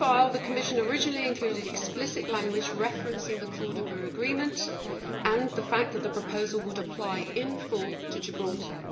The Commission had originally included explicit language referencing the Cordoba Agreement and the fact that the proposal would apply in full to Gibraltar.